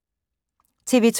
TV 2